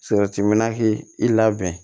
minna k'i labɛn